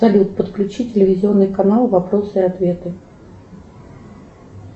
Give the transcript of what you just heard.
салют подключи телевизионный канал вопросы и ответы